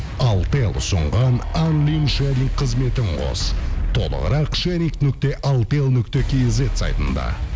алтел ұсынған қызметін қос толығырақ нүкте алтел нүкте кизет сайтында